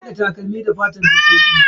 Ana hada takalmi da fatan dabbobi.